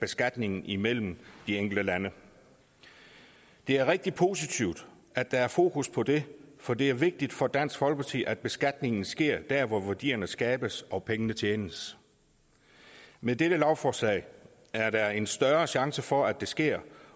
beskatningen imellem de enkelte lande det er rigtig positivt at der er fokus på det for det er vigtigt for dansk folkeparti at beskatningen sker der hvor værdierne skabes og pengene tjenes med dette lovforslag er der en større chance for at det sker